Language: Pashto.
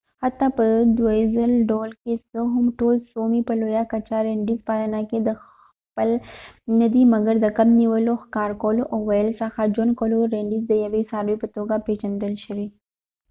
حتی په دودیز ډول که څه هم ټول سومي په لویه کچه رینډیر پالنه کې دخیل ندي مګر د کب نیولو ښکار کولو او ورته څخه ژوند کولو رینډیر د یوې څاروي په توګه پیژندل شوې